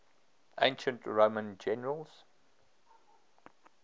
ancient roman generals